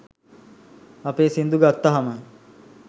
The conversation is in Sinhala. අපේ සින්දු ගත්තහම